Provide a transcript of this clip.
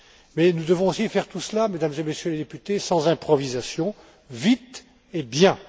Mais nous devons aussi faire tout cela, Mesdames et Messieurs les députés, sans improvisation, vite et bien.